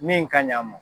Min ka ɲi a ma